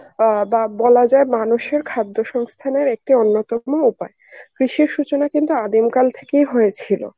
অ্যাঁ বা বলা যায় মানুষের খাদ্য সংস্থানের একটি অন্যতম উপায়. কৃষি সূচনা কিন্তু আদিমকাল থেকেই হয়েছিল.